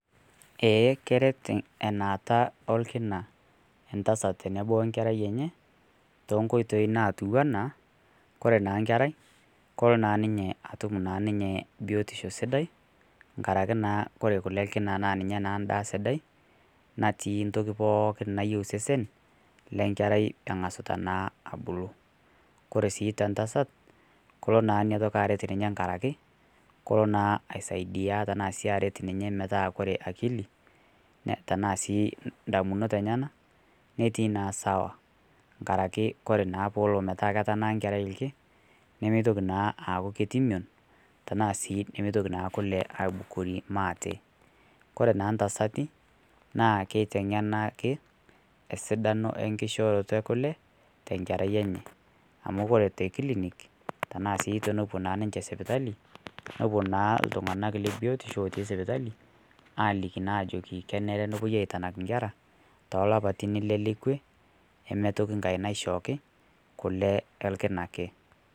Eeh keret enaata orkina entasat tenebo onkerai enye to nkotoi natiwaa ana kore naa nkerai koloo naa ninye atuum naa ninye biotisho sidai ng'araki naa kore naa kulee elkina naa ninye naa ndaa sidai natii ntoki pookin naiyeu sesen le nkeerai eng'asitaa naa abuluu. Kore sii te ntaasat koloo naaa enia ntoki aret ninye ng'araki kuloo naa aisaidia tana sii aret ninye metaa kore akili tana sii ndamunoot enyenak netii naa sawa. Ng'araki kore naa pee eloo pataa entanak nkerai ilkii nemetoki naa akuu ketii meeon tana sii nimeintoki naa kulee aabukori maate. Kore naa ntaasati naa keiteng'enaki esidano enkishoroto e kule te nkerai enye amu ore te kilniik tana sii tene poo naa ninchee sipitali nepoo naa iltung'anak le biotisho otii sipitali alikii naa ajoki keneere nepooi aitanak nkeraa to loopatin ilee lekwee meetoi nkaai neishooki kulee elkina ake.